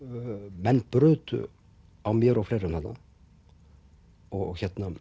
menn brutu á mér og fleirum þarna og